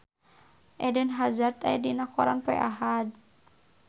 Eden Hazard aya dina koran poe Ahad